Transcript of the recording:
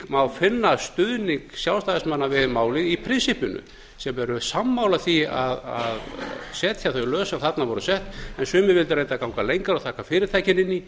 má finna stuðning sjálfstæðismanna við málið í prinsippinu sem voru sammála því að setja þau lög sem þarna voru sett en sumir vildu reyndar ganga lengra og taka fyrirtækin inn í